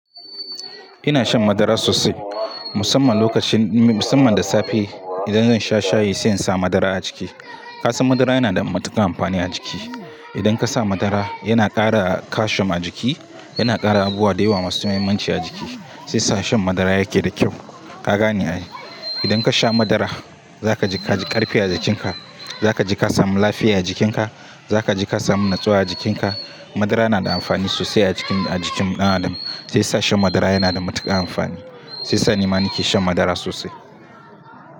Ina shan madara sosai musamman lokacin-- musamman da safe idan zan sha shayi sai in sa madara a ciki. Ka san madara yana da matukar amfani a jiki. Idan ka sa madara yana ƙara calcium a jiki, yana ƙara abubuwa da yawa masu muhimmanci a jiki, saisa shan madara yake da kyau. Ka gane ai. Idan ka sha madara za kaji, kaji ƙarfi a jikinka, za ka ji ka samu lafiya a jikinka, za ka ji ka samu natsuwa a jikinka. Madara nada amfani sosai a jikin, a jikin ɗan adam, saisa shan madara yana da matuƙar amfani. Saisa nima nike shan madara sosai.